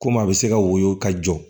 Komi a bɛ se ka woyo ka jɔ